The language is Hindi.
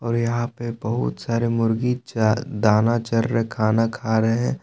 और यहां पे बहुत सारे मुर्गी च दाना चर रहे खाना खा रहे हैं।